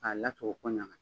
A latogo ko ɲa